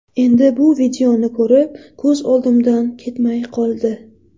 Endi bu videoni ko‘rib, ko‘z oldimdan ketmay qoldi.